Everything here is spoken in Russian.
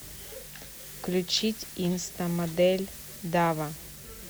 включить инстамодель дава